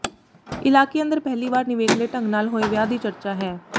ਇਲਾਕੇ ਅੰਦਰ ਪਹਿਲੀ ਵਾਰ ਨਿਵੇਕਲੇ ਢੰਗ ਨਾਲ ਹੋਏ ਵਿਆਹ ਦੀ ਚਰਚਾ ਹੈ